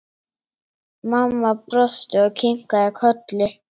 Mamma brosti og kinkaði kolli.